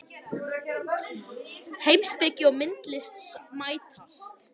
Heimspeki og myndlist mætast